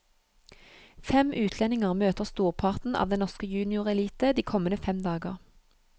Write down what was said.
Fem utlendinger møter storparten av den norske juniorelite de kommende fem dager.